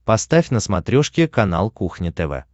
поставь на смотрешке канал кухня тв